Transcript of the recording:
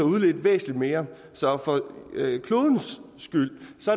udledt væsentligt mere så for klodens skyld